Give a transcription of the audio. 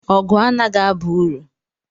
Ọgụ anaghị aba uru.